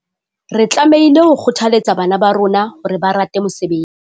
Re tlamehile ho kgothaletsa bana ba rona hore ba rate mosebetsi.